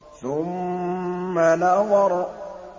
ثُمَّ نَظَرَ